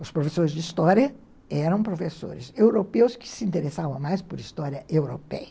Os professores de história eram professores europeus que se interessavam mais por história europeia.